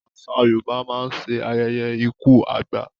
Àṣà Yorùbá mán nṣe ayẹyẹ ikú àgbà